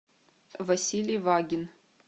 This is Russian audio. василий вагин